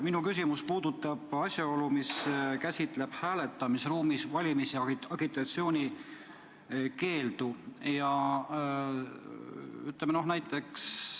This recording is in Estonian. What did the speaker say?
Minu küsimus puudutab asjaolu, mis käsitleb hääletamisruumis valimisagitatsiooni tegemise keeldu.